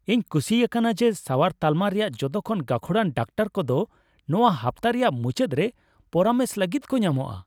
ᱤᱧ ᱠᱩᱥᱤ ᱭᱟᱠᱟᱱᱟ ᱡᱮ ᱥᱟᱣᱟᱨ ᱛᱟᱞᱢᱟ ᱨᱮᱭᱟᱜ ᱡᱚᱛᱚ ᱠᱷᱚᱱ ᱜᱟᱹᱠᱷᱩᱲᱟᱱ ᱰᱟᱠᱛᱟᱨ ᱠᱚᱫᱚ ᱱᱚᱶᱟ ᱦᱟᱯᱛᱟ ᱨᱮᱭᱟᱜ ᱢᱩᱪᱟᱹᱫ ᱨᱮ ᱯᱚᱨᱟᱢᱮᱥ ᱞᱟᱹᱜᱤᱫ ᱠᱚ ᱧᱟᱢᱚᱜᱼᱟ ᱾